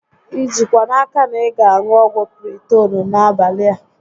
I jikwa n'aka na ị ga aṅụ ọgwụ Piritoonu a n'abalị a?